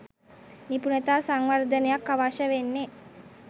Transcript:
නිපුණතා සංවර්ධනයක් අවශ්‍ය වෙන්නේ.